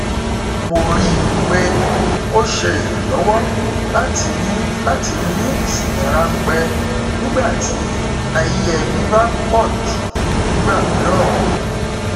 mo rí i pé ó ṣe ìrànlọwọ láti ní láti ní ìsinmi ránpẹ nígbà tí ayé ẹbí bá pọjù nígbà mìíràn